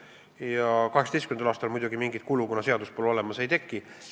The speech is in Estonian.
2018. aastal muidugi mingit kulu, kuna seadust pole olemas, ei teki.